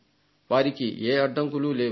వారికి ఏ అడ్డంకులు లేవు